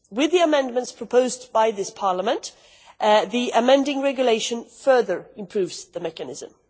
With the amendments proposed by this Parliament, the amending regulation further improves the mechanism.